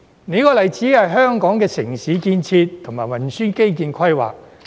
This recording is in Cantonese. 另一個例子是香港的城市建設及運輸基建規劃。